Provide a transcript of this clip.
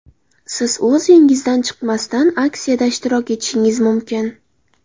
Siz o‘z uyingizdan chiqmasdan aksiyada ishtirok etishingiz mumkin!